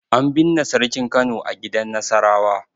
An binne Sarkin Kano a gidan Nasarawa.